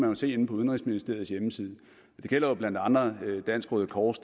jo se inde på udenrigsministeriets hjemmeside det gælder jo blandt andre dansk røde kors